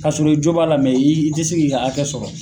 Ka sɔrɔ i jo b'a la i i tɛ se k'i ka hakɛ sɔrɔ.